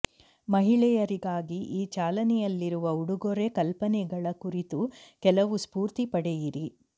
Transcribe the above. ಮಹಿಳೆಯರಿಗಾಗಿ ಈ ಚಾಲನೆಯಲ್ಲಿರುವ ಉಡುಗೊರೆ ಕಲ್ಪನೆಗಳ ಕುರಿತು ಕೆಲವು ಸ್ಫೂರ್ತಿ ಪಡೆಯಿರಿ